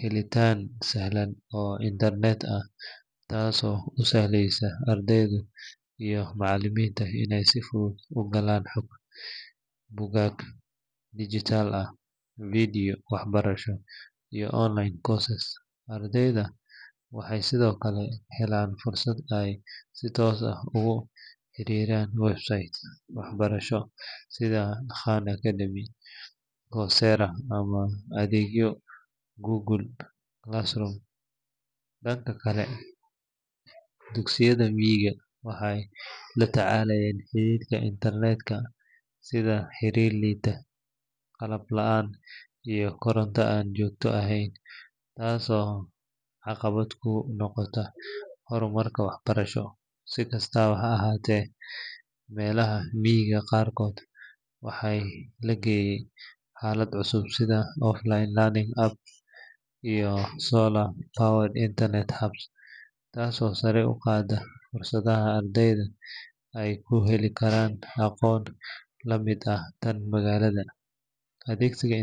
helitaan sahlan oo internet ah taasoo u sahlaysa ardayda iyo macallimiinta inay si fudud u galaan xog, buugaag digital ah, videos waxbarasho iyo online courses. Ardaydu waxay sidoo kale helaan fursad ay si toos ah ugu xiriiraan websites waxbarasho sida Khan Academy, Coursera, ama adeegyada Google Classroom. Dhanka kale, dugsiyada miyiga waxay la tacaalayaan xaddidaadda internet ka sida xiriir liita, qalab la’aan iyo koronto aan joogto ahayn taasoo caqabad ku noqota horumarka waxbarasho. Si kastaba ha ahaatee, meelaha miyiga qaarkood waxaa la geeyay xalal cusub sida offline learning apps iyo solar-powered internet hubs taasoo sare u qaadaysa fursadda ardayda ay ku heli karaan aqoon la mid ah tan magaalada. Adeegsiga.